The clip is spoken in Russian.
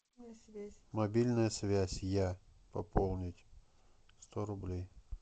мобильная связь я пополнить сто рублей